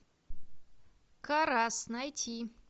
карас найти